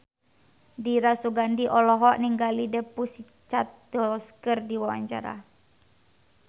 Dira Sugandi olohok ningali The Pussycat Dolls keur diwawancara